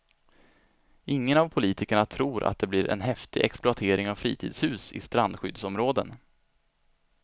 Ingen av politikerna tror att det blir en häftig exploatering av fritidshus i strandskyddsområden.